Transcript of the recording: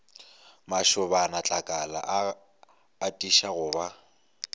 mašobanatlakala a atiša go ba